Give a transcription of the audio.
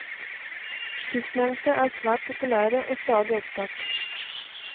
Sistnevnte er svært populære og stadig opptatt.